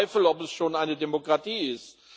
Ich bezweifle, dass es schon eine Demokratie ist.